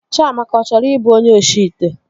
Chịamaka achọrọ ịbụ onye oshi ite?